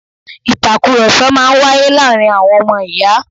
Ìtàkurọsọ̀ máa ń wáyé láàárín àwọn ọmọ ìyá